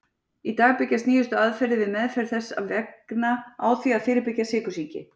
Í dag byggjast nýjustu aðferðir við meðferð þess vegna á því að fyrirbyggja sykursýki.